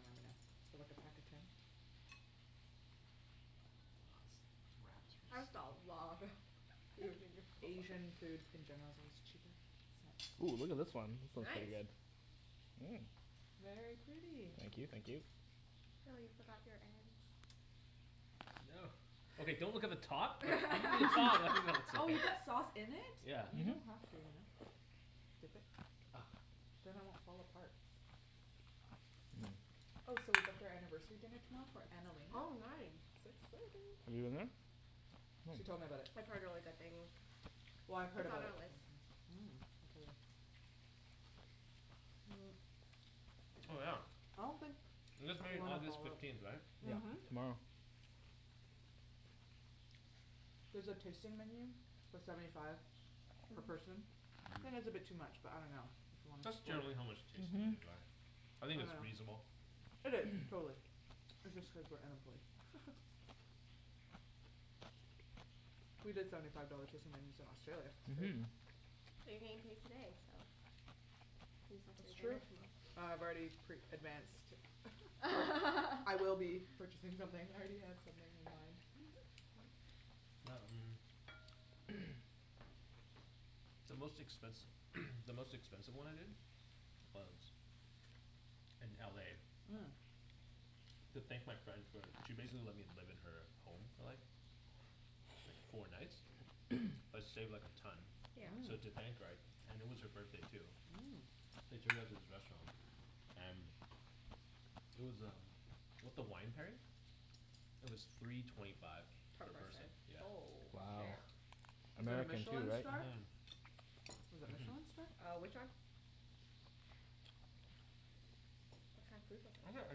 remember now, for like a pack of ten? That's a lot of I think food. Asian food in general is always cheaper, isn't Oh, look at this it. one, this looks pretty Nice! good. Mm. Very pretty. Thank you thank you. Oh, you forgot your ends. No. Okay, don't look at the top Oh, you put sauce in it? Yeah. You don't have to you know. Dip it. Then it won't fall apart. Oh so we booked our anniversary dinner tomorrow for Annalena. Oh nice! So You've excited! been there? She told me about it. I've heard really good things. Well, I've heard It's on about it our list. before, too. Mm, it's really good. Oh yeah, I don't think. you guys married August fifteenth, right? Yep. Mhm. Tomorrow. There's a tasting menu for seventy five per person, I think it's a bit too much but I dunno. That's generally how much tasting Mhm. menus are. I think it's I dunno. reasonable. It is, totally. It's just cuz we're unemployed. We did seventy five dollar tasting menus in Australia, it was great. Mhm. But you're getting paid today so, you can get yourself That's good true. dinner Uh, tomorrow. I've already pre-advanced. I will be purchasing something I already have something in mind. The most expensi- the most expensive one I did was in LA. Mm. To thank my friend for, she basically let me live in her home for like, like four nights, that saved like a ton. Yeah. So Mhm. thank her I, and it was her birthday too. Mm. I took her out to this restaurant and, it was um with the wine pairing, it was three twenty five Per per person. person. Oh Wow. Yeah. shit. Was it a Michelin star? Mhm. Was it Michelin star? Uh, which one? What kind of food would Actually, I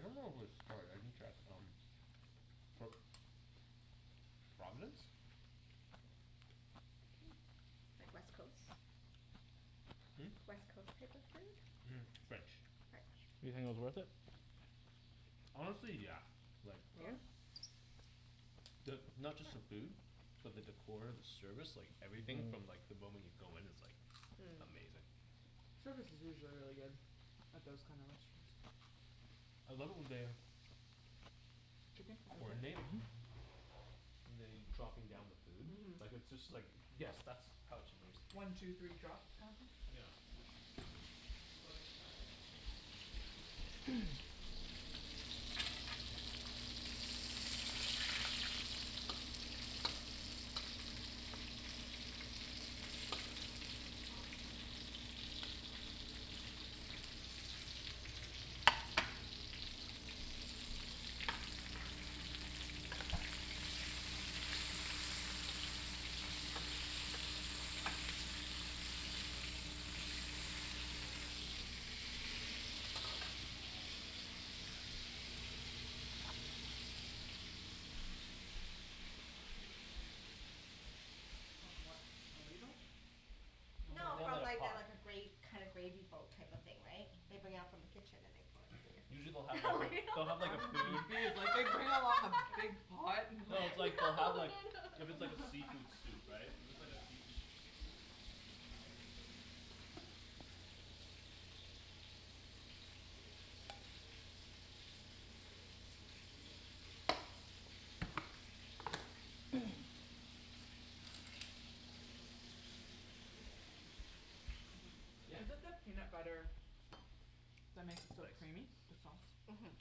dunno if it was have? starred, I didn't check um, but Providence? Like West Coast? Hm? West Coast type of food? French. You French. think it was worth it? Honestly, yeah. Like Really? The, not just the food, but the decor, the service, like everything from like the moment you go in it's like Mm. Amazing. Service is usually really good. At those kinda restaurants. I love it when they Chicken? You want some? Coordinate, and they, dropping down the food. Mhm. Like it's just like yes, that's how it shupposed to be. One two three drop kinda thing? Yeah. So like the guy will come out, our main waiter, he'll explain what the dish is, how it's made and all that, he'll give us a quick blurb on that. Mhm. And then and he, after he says please enjoy, the other two servers just put down the food. Mm. Cool Went to a wedding at the Vancouver Club, where they pour the soup at the table all at the same time. That's how you know it's fancy. How do they do that? They just, I think it's by per table, so not all the tables get it at once but it's like we're at a long table and they stand behind you and then on cue they all pour your soup. From what, a ladle? No, No, they have from like a like the pot. like a gra- kind of gravy boat type of thing, right, they bring out from the kitchen and they pour into Usually your they'll have like a, they'll have like a I'm food confused like they bring out a lot of big pot, and No, it's like like, they'll have like, if No it's like a no seafood no soup, right, if it's like a seafood cream soup, they'll have like the cooked, say like, the shrimps, scallops or whatever in the bowl, so you just see it and then they pour the cream soup like around Mhm. it. Mmm! So you get to see what's inside. Cool. I guess Is it- that can be confusing. Mhm. Yeah. Is it the peanut butter that makes it so creamy? The sauce. Mhm.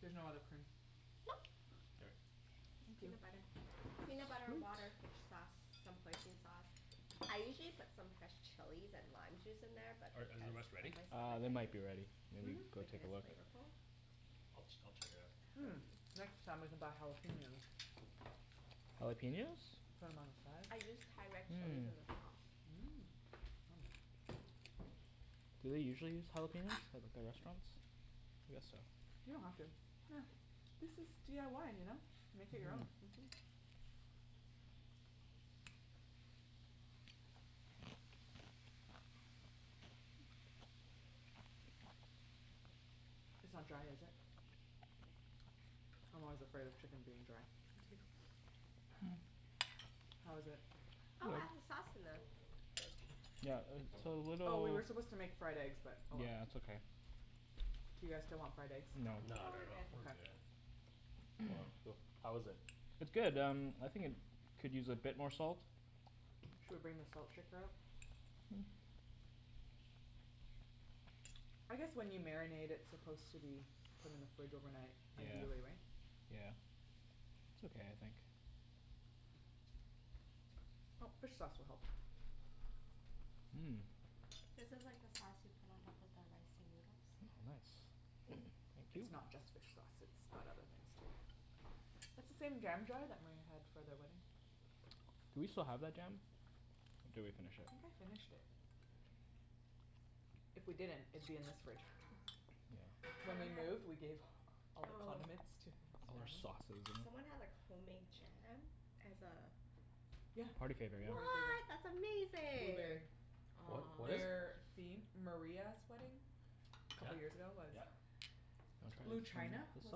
There's no other cream? Nope. Here. Just Thank you. peanut butter. Peanut butter, water, fish sauce, some hoisin sauce. I usually put some fresh chilies and lime juice in there but Are are the because rest ready? of my Uh, stomach they I might be ready. Maybe didn't. Mhm. go Make it take a as look. flavorful. I'll ch- I'll just check it out. Mm. Next time we can buy jalapeños. Jalapeños? From outside. I used Thai red chilies Mm. in the sauce. Mm. Do they usually use jalapeños at, at restaurants? I guess so. You don't have to. Yeah, this is DIY, you know? Make it your own. Mhm. It's not dry, is it? I'm always afraid of chicken being dry. How is it? Oh, add the sauce in them. Yeah, it's a little Oh, we were supposed to make fried eggs but oh well. Yeah, it's okay. Do you guys still want fried eggs? No, not at all, we're good. Well, how is it? It's good um, I think it could use a bit more salt. Should we bring the salt shaker out? I guess when you marinate it's supposed to be put in the fridge overnight ideally, right? Yeah. It's okay, I think. Oh, fish sauce will help. Mm. This is like the sauce you put on top of the rice and noodles. Nice. Thank you. It's not just fish sauce it's got other things, too. That's the same jam jar that Maria had for their wedding. Do we still have that jam? Or did we finish I it. think I finished it. If we didn't, it'd be in this fridge. So when we moved, we gave all the condiments to his family. Someone had like homemade jam as a Yeah. Party favor, yeah. Party favor. What! That's amazing! Blueberry. What, what Aw. is? Their theme, Maria's wedding, couple years ago was Yep. Blue china, This was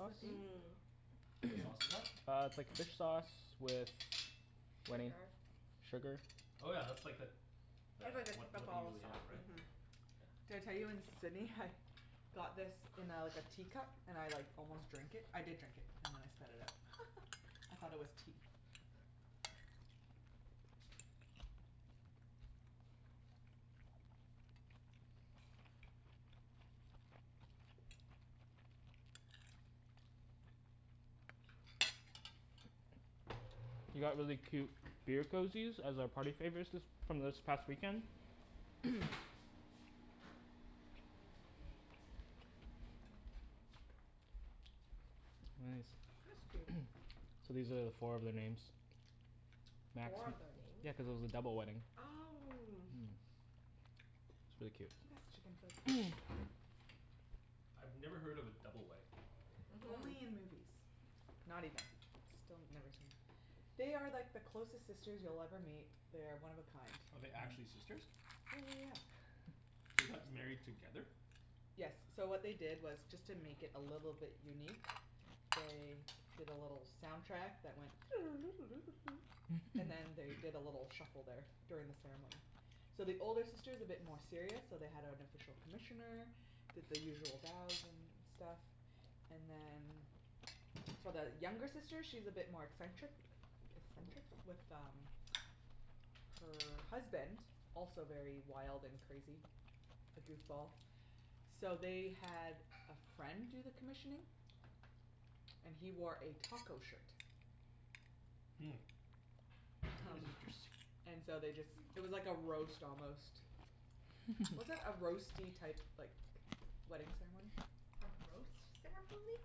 the theme What Yeah. sauce is that? Uh, it's like fish sauce with. Wenny? Sugar Sugar Oh yeah, that's like that the It's really the what what they typical usually have, sauce, mhm. right? Did I tell you in Sydney I had got this in a like a teacup, and I like almost drank it, I did drink it and then I spat it out. I thought it was tea. We got really cute beer cozies as a party favors this, from this past weekend Nice That's cute. So these are four of their names. Four of their names? Yeah, cuz it was a double wedding. Oh. Mm, it's really Can cute. you pass the chicken, Phil, please? I've never heard of a double wedding. Only in Mhm. movies. Not even, still never seen. They are like the closest sisters you'll ever meet. They're one of a kind. Oh they're actually sisters? Yeah yeah yeah. They got married together? Yes, so what they did was just to make it a little bit unique, they did a little soundtrack that went and then they did a little shuffle there during the ceremony. So the older sister is a bit more serious so they had an official commissioner, did the usual bows and stuff, and then for the younger sister she's a bit more eccentric, eccentric, with um, her husband, also very wild and crazy A goofball. So they had a friend do the commissioning, and he wore a taco shirt. Hmm. That Um is interesting. and so they just, it was like a roast almost. Was it a roasty type, like, wedding ceremony? A roast ceremony?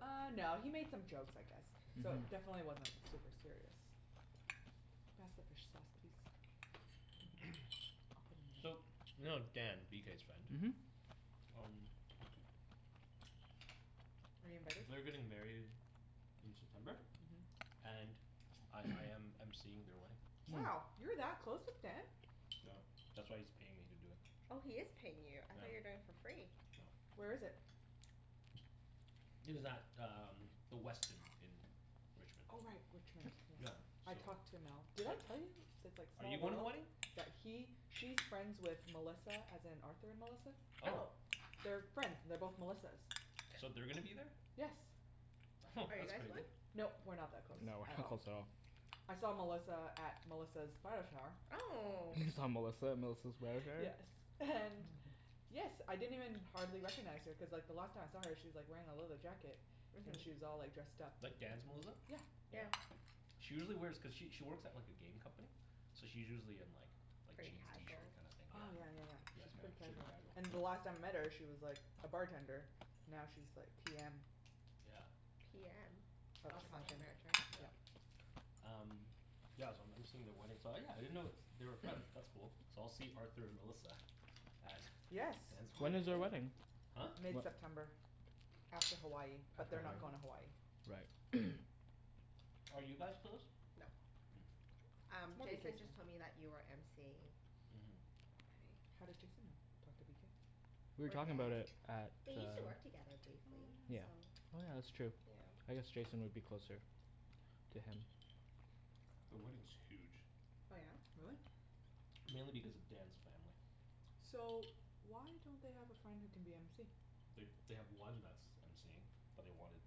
Uh no, he made some jokes I guess, so definitely wasn't super serious. Can you pass the fish sauce please? I'll put it in So, the you middle. know Dan, BK's friend? Mhm. Um Are you invited? They're getting married in September, and I I am MCing their wedding. Wow, you're that close with Dan? No, that's why he's paying me to do it. Oh he is paying you, I thought you're doing it for free. Where is Nope. it? It is at um, the Westin in Richmond. Oh right, Richmond, Yeah yes. I so. talked to Mel, did I tell you? That it's like Are small you going to the world. wedding? Yeah he, she's friends with Melissa as in Arthur and Melissa. Oh! Oh! They're friends, they're both Melissas. So they're gonna be there? Yes. Are you That's guys going? crazy. Nope, we're not that close, No, we're at not all. close at all. I saw Melissa at Melissa's bridal shower. Oh! You saw Melissa at Melissa's bridal shower? Yes, and yes I didn't even hardly recognize her cuz like the last time I saw her she's like wearing a leather jacket. And she was Mhm. all like dressed up. Like Dan's Melissa? Yeah. Yeah. She usually wears, cuz she she works at like a game company, so she's usually in like, like Pretty jeans, t-shirt casual? kinda thing, yeah. Oh yeah yeah yeah, Yeah, she's pretty super casual. casual. And the last time I met her she was like a bartender, now she's like PM. Yeah. PM? Of Oh Project project something. manager, manager. yeah. Um yeah, so I'm MCing at their wedding so yeah, I didn't know they were friends, that's cool. So I'll see Arthur Melissa at Yes! Dan's When You is their will. wedding wedding? Huh? Whe- mid-september. After Hawaii, but they're not going to Hawaii. Right Are you guys close? Nope. Hm. Um, Jason just told me that you are MCing. Mhm. How did Jason know, talked to BK? We were From talking about Dan, it at the they used to work together briefly, Oh yeah. so Oh yeah, that's true. I guess Jason would be closer to him. The wedding is huge. Oh yeah? Really? Mainly because of Dan's family. So, why don't they have a friend who can be MC? They they have one that's that's MCing, but they wanted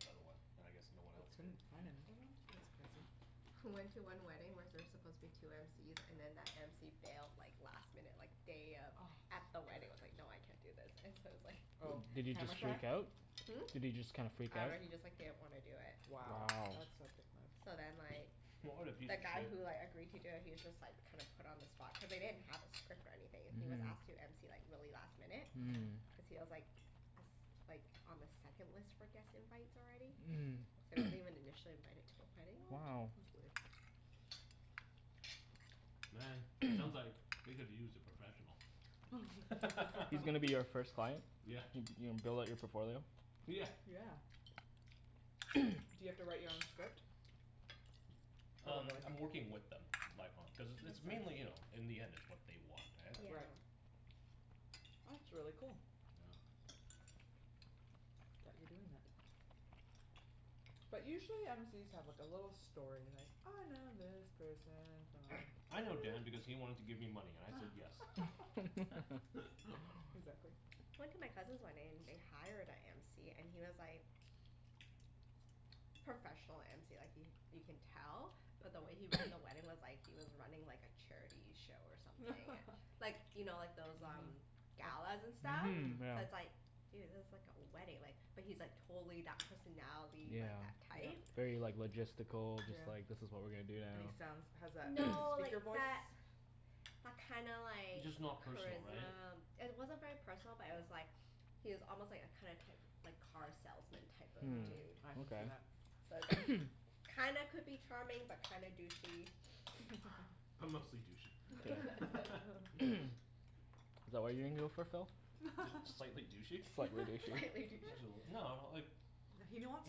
another one. And I guess no one They else could couldn't find another one? That's surprising. I went to one wedding where there's supposed to be two MCs, and then that MC bailed like last minute like day of, at the wedding was like, no I can't do this, and so it was like Oh, Did he camera just shy? freak out? Hm? Did he just kind of freak I out? dunno he just like didn't want to do it. Wow. Wow. That's a dick move. So then like. What a The guy who like agreed to do it he was just like kind of put on the spot, cuz they didn't have a script or anything. He was asked to MC like really last minute, cuz he was like a s- like on the second list for guest invites already. So he wasn't even initially invited to the wedding. What? Wow. That's weird. Man, sounds like they could use a professional. He's gonna be you first client? Yeah. You're gonna build up on your portfolio? Yeah. Yeah. Do you have to write your own script? Um, Probably. I'm working with them. Like on, cuz it's Makes mainly you know, sense. in the end it's what they want Yeah. right? Right. That's really cool. Yeah. That you're doing that. But usually MC's have like a little story like I know this person from I know Dan because he wanted to give me money and I said yes. Exactly. I went to my cousin's wedding and they hired a MC and he was like, professional MC like he, you can tell, but the way he ran the wedding was like he was running like a charity show or something Like, you know like those um, galas and stuff Mhm So it's Yeah. like, dude, this is like a wedding like, but he's like totally that personality, Yeah. like that type. Very like logistical Just Yeah. like this is what we are gonna do And he sounds, now has that No, like speaker voice? that, that kinda like Just not personal right? Charisma. It wasn't very personal but it was like, he was almost like a kind of, type, like car salesman type of Hm, Mhm. dude. I can see okay that. So it's like, kinda could be charming but kinda douchey. But mostly douchey. Is that what you're gonna go for, Phil? Just slightly douchey. Slightly douchey. Slightly douchey Just a little, no like He don't wants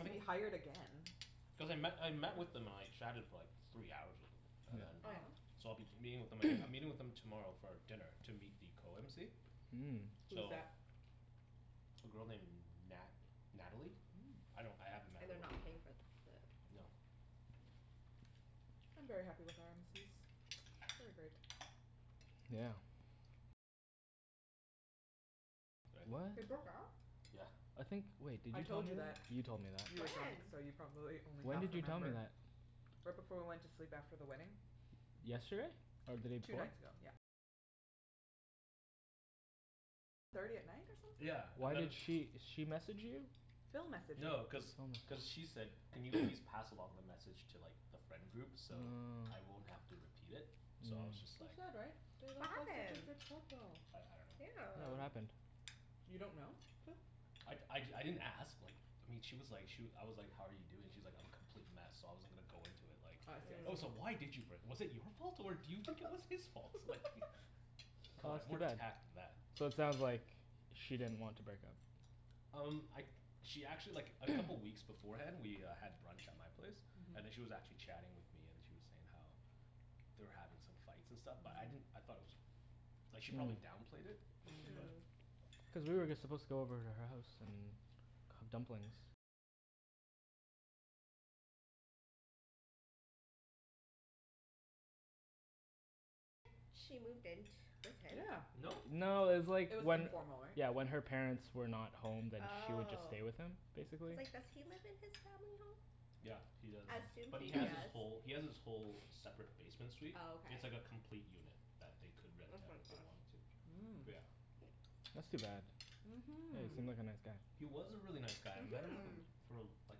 to be hired again. Cuz I met, I met with them and like chatted for like three hours with them, and Oh then Wow yeah? so I'll be meeting with them aga- I'm meeting with them tomorrow for dinner to meet the co-mc. Mm. Who's So that? A girl named Nat- Natalie? Mm. I don't, I haven't met And her they're not paying for the No. I'm very happy with our MC's. They are great. Yeah. What? They broke up? I think wait, did I you tell told me you that? that You told me that. You were drunk, When? so you probably only When half did you tell me remember that? Right before we went to sleep after the wedding. Yesterday? Or the day Two before? nights ago, yep. Yeah, and Why then did she, she message you? Phil messaged No, me. cuz cuz she said, "Can you please pass along the message to like the friend groups so I won't have to repeat it?" So I was just So like sad right? They What looked like such a happened? good couple! I I Yeah, Yeah. dunno. what happened? You don't know, Phil? I I d- I didn't ask like, I mean she was like she I was like, "how are you doing", she's like, "I'm a complete mess" so I wasn't gonna go into it like. Oh I see I Oh so see. why did you break, was it your fault or do you think it was his fault? Like, c'mon, I have more tact than So it that. sounds like she didn't want to break up. Um, I she actually like a couple weeks beforehand we uh had brunch at my place, and then she was actually chatting with me and she was saying how they were having some fights and stuff but I didn't, I thought it was, like she probably downplayed it. Mm. But. Cuz we were just supposed to go over to her house and cook dumplings Yeah. No? No, it's like It was when informal right? Yeah when her parents were not home then she would just Oh. stay with him, basically. Cuz like, does he live in his family Yeah, home? he does. I assume But he he has his does. whole, he has his whole separate basement suite. Oh It's like a okay. complete unit that they could rent out if they wanted to. Mm. But yeah. That's too bad. Yeah, he Mhm. seemed like a nice guy. He was a really nice guy and then like a for uh like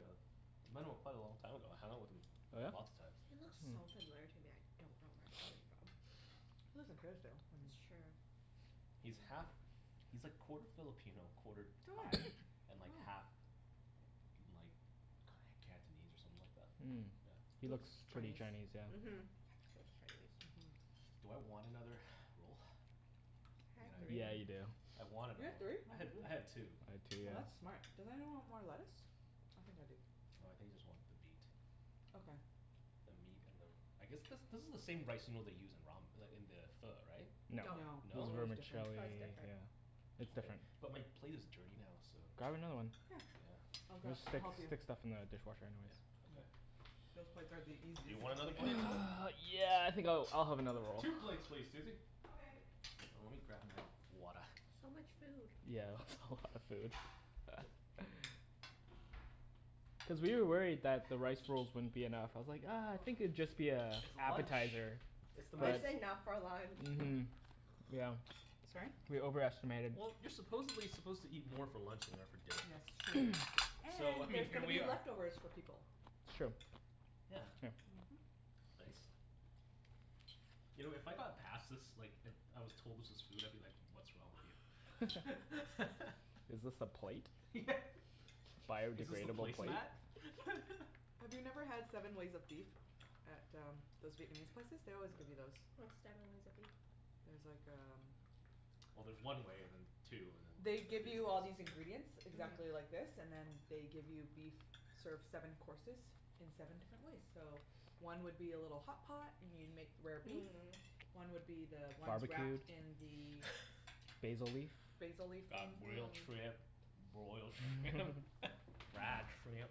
uh I met him quite a long time ago. I hung out with him lots of times. He looks so familiar to me I don't know where I him from. He lives in Kerrisdale. That's true. He's half, he's like quarter Filipino, quarter Thai, and like half like Cantonese or something like that? Mm. He He Yeah. looks looks pretty Chinese Chinese, yeah. Mhm. He looks Chinese. Mhm Do I want another roll? I had three. Yeah, you do. I want You another had three? one. I had, I had two. I had two, yeah. Oh that's smart. Does anyone want more lettuce? I think I do. No, I think I just want the meat. Okay. The meat and the, I guess this this is the same rice noodle they use in ramen, like in the pho, right? No. No. This is No? Pho is different. vermicelli, Pho is different. yeah. It's Okay, different. but my plate is dirty now so. Grab another one. Yeah. I'll We grab, Yeah. just I'll stick, help you. stick stuff in the dishwasher anyways. Yeah, Yeah, okay. those plates are the Do you easiest to want another clean. plate as well? yeah I think I'll, I'll have another roll. Two plates please, Susie. Okay. Oh lemme grab my, water. So much food. Yeah. That's a lot of food. Cuz we were worried that the rice rolls wouldn't be Thanks very enough. I much. was like ah You I are think welcome. it'd just be a It's lunch! appetizer. It's the most That's enough for lunch. Mhm. Yeah. Sorry? We over estimated. Well, you're supposedly suppose to eat more for lunch than you are for Yes it's dinner. true. So And I mean there's going here to we be are leftovers for people True. Yeah. Thanks. You know if I got passed this like it, I was told this was food I'd be like, what's wrong with you. Is this the plate? Yeah. Is this the Biodegradable plate? placemat? Have you never had seven ways of beef at uh, those Vietnamese places? They No. always give you those. What's seven ways of beef? It's like um Well there's one way and then two and then They give you all these ingredients exactly like this and then they give you beef, serve seven courses in seven different ways so one would be a little hotpot and you make rare beef. Mm. One would be the ones Barbequed? wrapped in the Basil leaf? Basil leaf Got thing grilled shrimp, broiled shrimp fried shrimp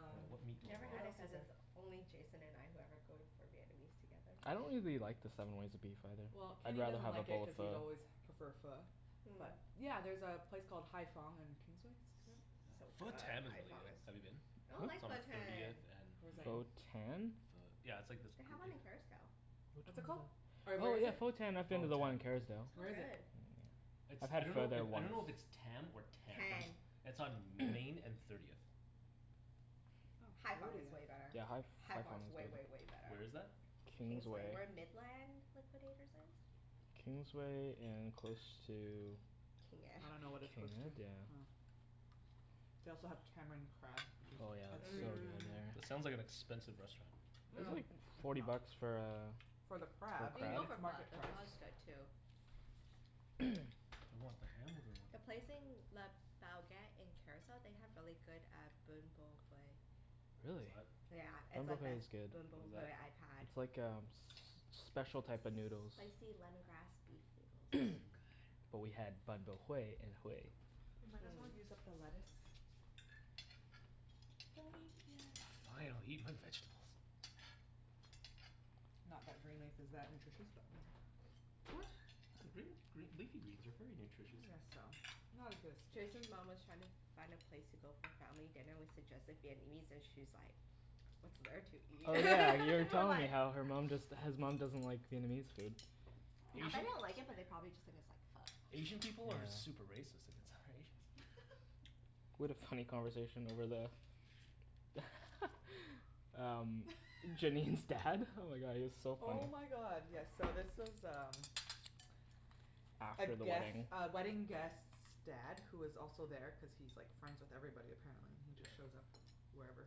I dunno, what meat I've do I never want What had it else cuz is there. it's only Jason and I who ever go to, for Vietnamese together. I don't really the, like the seven ways of beef either, Well, I'd Kenny rather doesn't have a like it bowl cuz of he's always prefer Pho. Pho. But Mm. yeah, there's a place called Hai Phong on Kingsway So Pho fun, Tan is Hai really Phong good, is have you been? I don't like It's on Pho Tan! thirtieth Where's and? that? Pho Tan? Pho- yeah, it's like this They have one in Kerrisdale. What's it called? Or where Oh is yeah it? Pho Tan I've been to the one in It's Kerrisdale. Where not is it? good. It's, I I had Pho dunno there if, I once. dunno if it's Tam or Tan. Tan. It's on Main and Thirtieth. Oh Hai Phong is thirtieth. way better. Yeah, Hai Ph- Hai Hai Phong Phong is way is good way way better. Where is that? Kingsway. Kingsway. Where Midland Liquidators is. Kingsway and close to King Ed I dunno what it's King close Ed? to. Yeah. Oh. They also have tamarind crab which Oh yeah, it's It so is. Mm. sounds like good an there. expensive restaurant. Mm- It's only mm. forty bucks for uh For the crab. I You can mean go it's for Pho. market The price. Pho is good too. Do I want the ham or do I want The the pork. place in Le Bouguette in Kerrisdale they have really good uh Ben Bo Hue. What is Really. Yeah, that? it's Ben Bo the Hue best is good. Ben Bo Hue I've had. It's like um s- special type of noodles. Spicy lemongrass beef noodles. So good. But we had Ben Bo Hue in Hue. We might as well use up the lettuce. Don't eat it yet! Fine, I'll eat my vegetables. Not that green leaf is that nutritious but whatever What? Green, green, leafy greens are very nutritious. I guess so. Not as good as spinach. Jason's mom was trying to find a place to go for family dinner, we suggested Vietnamese and she's like, "What's there to eat?" Oh yeah you already We're told me like how her mom just, his mom doesn't like Vietnamese food. I bet they don't like it but they probably just think it's like Asian Pho. people are super racist against other Asians. We had a funny conversation over the. Um, Janine's dad. Oh my god, he was so funny Oh my god yes so this was um A After the guest, wedding. a wedding guest's dad who was also there cuz he's like friends with everybody apparently. He just shows up wherever.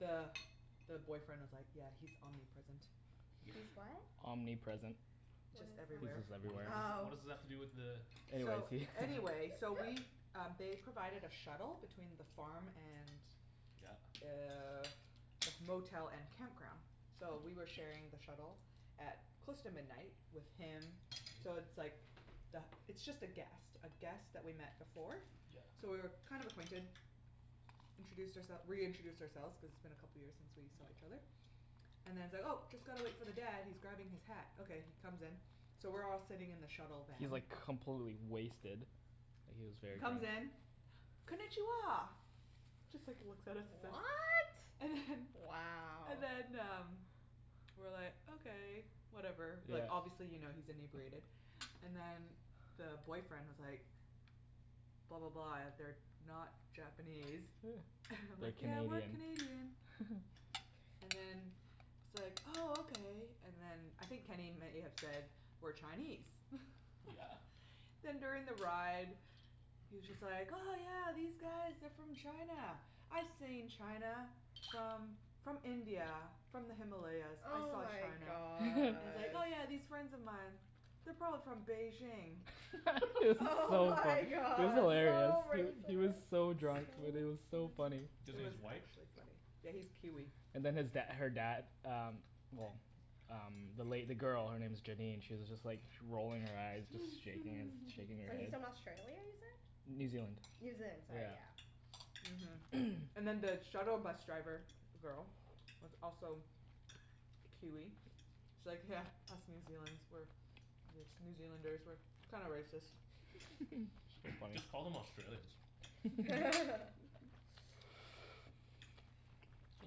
Yeah. the boyfriend was like, "Yeah he's omnipresent." He's what? Omnipresent. What Just is that? everywhere. What does, what does that, Oh. what does that have to do with the Anyways So, he anyways so we um they provided a shuttle between the farm and Yeah. Uh the motel and campground so we were sharing the shuttle at close to midnight with him. So it's like the, it's just a guest, a guest that we've met before. So Yeah. we were kind of acquainted. We introduced our- reintroduced ourselves cuz it's been a couple of years since we saw each other. And then he's like, "Oh just gotta wait for the dad, he's grabbing his hat", okay he comes in. So we're all sitting in the shuttle He's van. like completely wasted. Like he was He very drunk. comes in, "Konichiwa!" Just like looks at us and- What?! And then Wow. And then um, we were like, okay, whatever, like obviously you know he's inebriated, and then the boyfriend was like, "Blah blah blah they're not Japanese." And I'm We're like, "Yeah we're Canadian. Canadian." And then he's like oh okay. And then I think Kenny may have said we're Chinese Yeah. Then during the ride, he's just like, "Oh yeah these guys are from China, I've seen China from from India, from the Himalayas." I Oh saw my China. god. And he's like, "Yeah yeah, these friends of mine, they're probably from Beijing." It was Oh so funny. my It was god. hilarious. So He was racist! so drunk, Wenny, it was so funny. Does It he, he's was white? actually funny. Yeah he's Kiwi. And then his dad her dad um well um the lady, the girl, her name is Janine, she was just like rolling her eyes just shaking his, shaking her So he's head from Australia, New you said? Zealand. New Zealand, sorry yeah. Mhm. And then the shuttle bus driver girl was also Kiwi. She's like, "Yeah, us New Zealand's, we're, New Zealanders we're, we're kinda racist." Just call them Australians. So